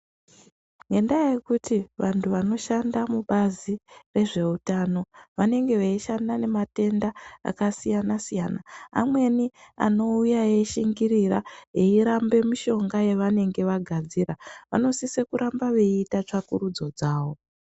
Ngendaa yekuti vantu vanoshanda mubazi rezveutano vanenge veishanda nematenda akasiyana-siyana. Amweni anouya eishingirira, eirambe mishonga yavanenge vagadzira. Vanosise kurambe veiita tsvakurudzo dzavo.